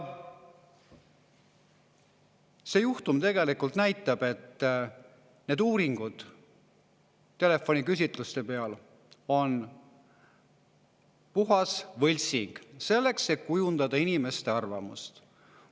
See juhtum tegelikult näitab, et need telefoniküsitluste uuringud on puhas võltsing, selleks et kujundada inimeste arvamust.